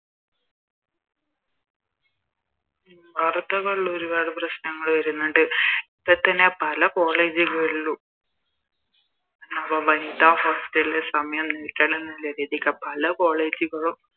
വാർത്തകളിൽ ഒരുപാട് പ്രശ്നങ്ങള് വരുന്നുണ്ട് ഇപ്പൊ തന്നെ പല College കളിലും വനിതാ Hostel ല് സമയം നീട്ടണന്നുള്ള രീതിക്ക പല College കളിലും